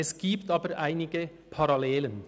Es gibt aber einige Parallelen.